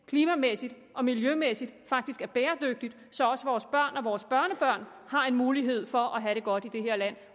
klimamæssigt og miljømæssigt er bæredygtig så også vores børn og børnebørn har en mulighed for at have det godt i det her land